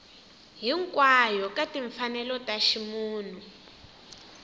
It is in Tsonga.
hinkwayo ka timfanelo ta ximunhu